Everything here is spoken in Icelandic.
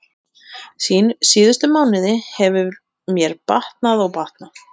Síðustu mánuði hefur mér batnað og batnað.